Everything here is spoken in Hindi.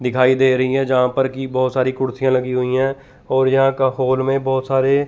दिखाई दे रही है जहां पर की बहोत सारी कुर्सियां लगी हुई है और यहां का हॉल में बहोत सारे--